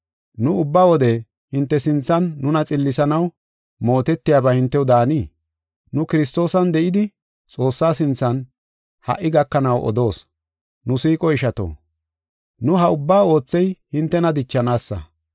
Nu ubba wode hinte sinthan nuna xillisanaw mootetiyaba hintew daanii? Nu Kiristoosan de7idi Xoossaa sinthan ha77i gakanaw odoos. Nu siiqo ishato, nu ha ubbaa oothey hintena dichanaasa.